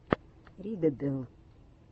риддл